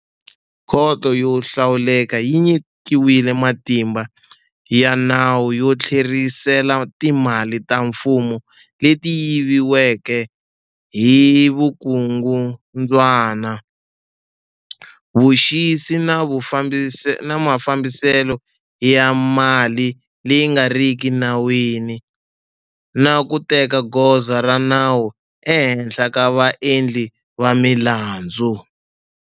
Khoto yo hlawuleka yi nyikiwile matimba ya nawu yo tlherisela timali ta mfumo leti yiviweke hi vukungundzwana, vuxisi na mafambiselo ya mali leyi nga riki enawini, na ku teka goza ra nawu ehenhla ka vaendli va milandzu.